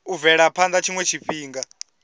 u bvela phana tshiwe tshifhinga